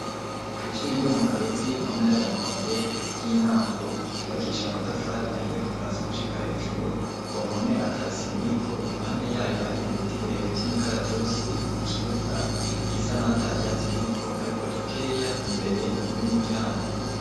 Kw'ishure ryo mu Kabezi, mu ntara ya Rumonge ry'intango, ryubakishije amatafari ahiye kuva hasi gushika hejuru, ku mpome ata sima iriko, iruhande y'ayo hari ibiti birebire vy'imikaratusi, ikibuga gisa nkaho ata vyatsi biriko, hariko dukeya imbere y'umuryango.